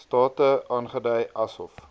state aangedui asof